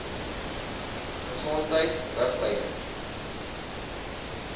gesondheidriglyne